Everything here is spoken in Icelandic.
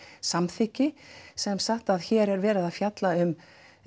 samþykki sem sagt að hér er verið að fjalla um